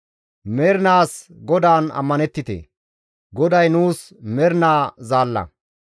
Mernaas GODAAN ammanettite; GODAY nuus mernaa Zaalla.